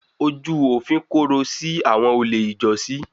Ojú òfin korò sí àwọn olè ijọ́sí.